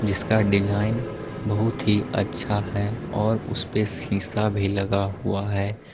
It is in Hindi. इसका डिजाइन बहुत ही अच्छा है और उस पे शीशा भी लगा हुआ है।